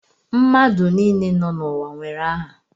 Mmadụ niile nọ n'ụwa nwere aha